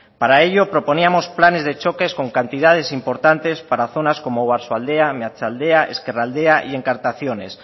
para ello proponíamos planes de choques con cantidades importantes para zonas como oarsoaldea meatzaldea ezkerraldea y encartaciones